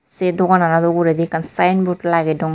Sei doganano uguredi ekkan signboard lagedon.